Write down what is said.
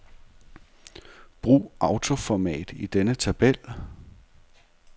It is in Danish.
Brug autoformat i denne tabel.